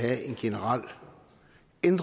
en